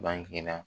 Bange na